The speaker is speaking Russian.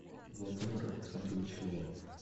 владимир александрович леонов